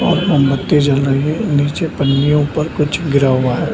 और मोमबत्ती जल रही है नीचे पन्नियों पर कुछ गिरा हुआ है।